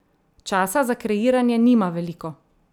Časa za kreiranje nima veliko.